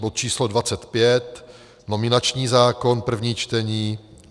bod číslo 25, nominační zákon, první čtení,